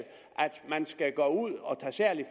man skal gå ud og tage særlig